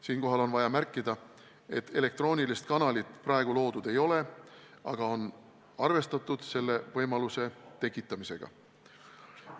Siinkohal on vaja märkida, et elektroonilist kanalit praegu veel loodud ei ole, aga selle võimaluse tekitamisega on arvestatud.